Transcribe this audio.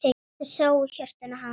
Og þau sáu hjörtun hamast.